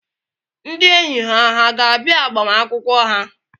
Ndị enyi ha hà ga-abịa agbamakwụkwọ ha?